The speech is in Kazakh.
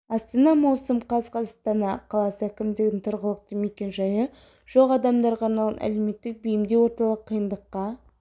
астана маусым қаз астана қаласы әкімдігінің тұрғылықты мекен жайы жоқ адамдарға арналған әлеуметтік бейімдеу орталығы қиындыққа